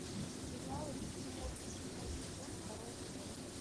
сериал рик и морти седьмой сезон второй эпизод